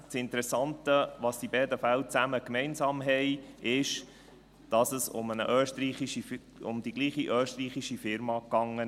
Das Interessante, das beide Fälle gemeinsam haben, ist, dass es um die gleiche österreichische Firma ging.